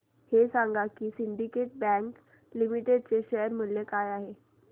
हे सांगा की सिंडीकेट बँक लिमिटेड चे शेअर मूल्य काय आहे